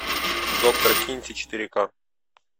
доктор кинти четыре ка